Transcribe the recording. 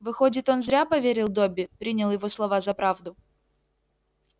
выходит он зря поверил добби принял его слова за правду